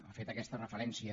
ha fet aquesta referència